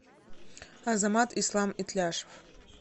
азамат ислам итляшев